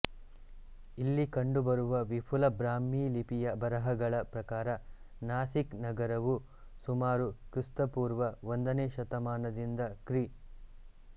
ಇಲ್ಲಿ ಕಂಡುಬರುವ ವಿಪುಲ ಬ್ರಾಹ್ಮಿ ಲಿಪಿಯ ಬರಹಗಳ ಪ್ರಕಾರ ನಾಸಿಕ್ ನಗರವು ಸುಮಾರು ಕ್ರಿ ಪೂ ಒಂದನೇ ಶತಮಾನದಿಂದ ಕ್ರಿ